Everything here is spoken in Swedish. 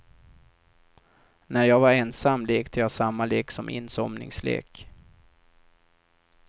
När jag var ensam lekte jag samma lek som insomningslek.